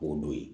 K'o don yen